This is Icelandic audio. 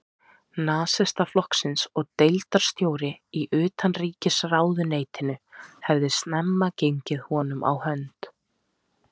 Nasistaflokksins og deildarstjóri í utanríkisráðuneytinu, hafði snemma gengið honum á hönd.